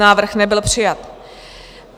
Návrh nebyl přijat.